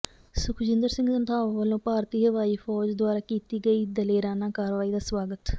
ਸੁਖਜਿੰਦਰ ਸਿੰਘ ਰੰਧਾਵਾ ਵਲੋਂ ਭਾਰਤੀ ਹਵਾਈ ਫੌਜ ਦੁਆਰਾ ਕੀਤੀ ਗਈ ਦਲੇਰਾਨਾ ਕਾਰਵਾਈ ਦਾ ਸਵਾਗਤ